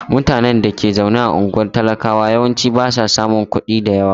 Mutanen da ke zaune a unguwar talakawa yawanci ba sa samun kuɗi da yawa.